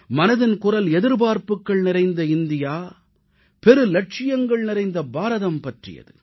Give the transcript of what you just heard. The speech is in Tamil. மனதின் குரல் எதிர்பார்ப்புகள் நிறைந்த இந்தியா பெரு இலட்சியங்கள் நிறைந்த பாரதம் பற்றியது